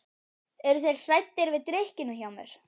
Eru þeir hræddir við drykkjuna hjá mér?